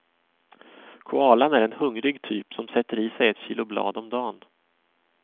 Koalan är en hungrig typ, som sätter i sig ett kilo blad om dan.